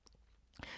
TV 2